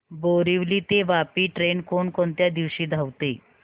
बोरिवली ते वापी ट्रेन कोण कोणत्या दिवशी धावते